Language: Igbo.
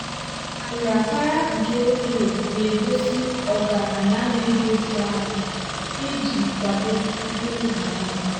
nrapara nke clay na-egosi ọgaranya na-edozi ahụ iji kwado mkpụrụ banana.